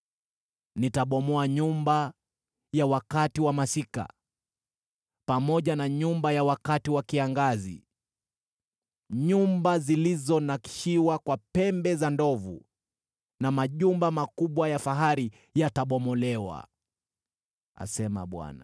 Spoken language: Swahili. Nitabomoa nyumba ya wakati wa masika, pamoja na nyumba ya wakati wa kiangazi; nyumba zilizonakshiwa kwa pembe za ndovu na majumba makubwa ya fahari yatabomolewa,” asema Bwana .